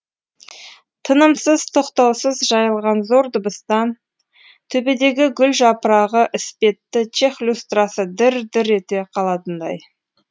тынымсыз тоқтаусыз жайылған зор дыбыстан төбедегі гүл жапырағы іспетті чех люстрасы дір дір ете қалатындай